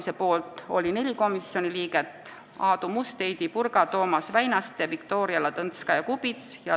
Selle poolt oli 4 komisjoni liiget: Aadu Must, Heidy Purga, Toomas Väinaste ja Viktoria Ladõnskaja-Kubits.